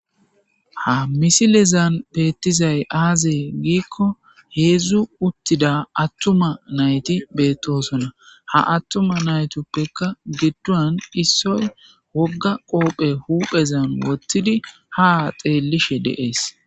Ha misilezan beettizay aazee giikko heezzu uttida attuma nayti beettosonna. Ha attuma naytuppekka giddon issoy wogga qoobe huphezan wottidi ha xeellishe dees.